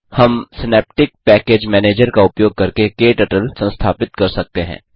हम Synaptic package manager का उपयोग करके क्टर्टल संस्थापित कर सकते हैं